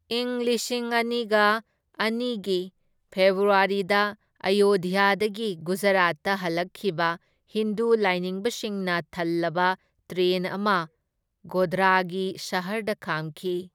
ꯢꯪ ꯂꯤꯁꯤꯡ ꯑꯅꯤꯒ ꯑꯅꯤꯒꯤ ꯐꯦꯕ꯭ꯔꯨꯋꯥꯔꯤꯗ ꯑꯌꯣꯙ꯭ꯌꯥꯗꯒꯤ ꯒꯨꯖꯔꯥꯠꯇ ꯍꯜꯂꯛꯈꯤꯕ ꯍꯤꯟꯗꯨ ꯂꯥꯏꯅꯤꯡꯕꯁꯤꯡꯅ ꯊꯜꯂꯕ ꯇ꯭ꯔꯦꯟ ꯑꯃ ꯒꯣꯙ꯭ꯔꯥꯒꯤ ꯁꯍꯔꯗ ꯈꯥꯝꯈꯤ꯫